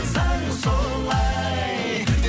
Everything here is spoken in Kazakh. заң солай